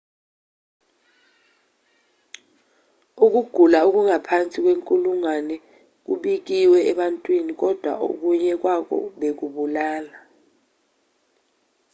ukugula okungaphansi kwenkulungwane kubikiwe ebantwini kodwa okunye kwakho bekubulala